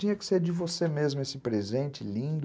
Tinha que ser de você mesmo esse presente lindo.